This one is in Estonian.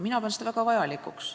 Mina pean seda väga vajalikuks.